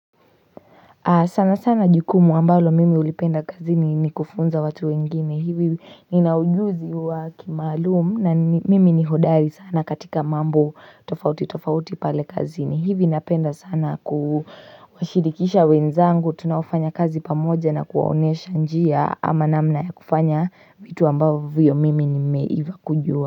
Sana sana jukumu ambalo mimi ulipenda kazini ni kufunza watu wengine hivi ninaujuzi wa kimaalumu na mimi ni hodari sana katika mambo tofauti tofauti pale kazini hivi napenda sana kuwashidikisha wenzangu tunaofanya kazi pamoja na kuwaonyesha njia ama namna ya kufanya vitu ambavyo mimi nimeiva kujua.